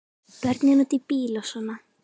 Börnin úti í bíl og svona.